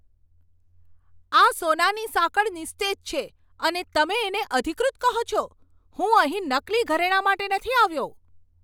આ સોનાની સાંકળ નિસ્તેજ છે અને તમે તેને અધિકૃત કહો છો? હું અહીં નકલી ઘરેણાં માટે નથી આવ્યો!